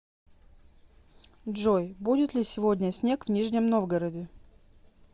джой будет ли сегодня снег в нижнем новгороде